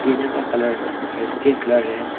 टीना का कलर थोड़ा steel colour है।